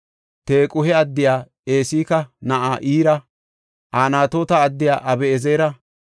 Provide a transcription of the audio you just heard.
Tequhe addiya Esika na7aa Ira, Anatoota addiya Abi7ezera,